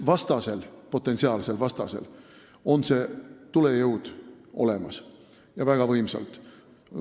Potentsiaalsel vastasel on see tulejõud olemas ja väga võimsalt.